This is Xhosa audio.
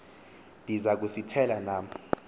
ndiza kusithela nam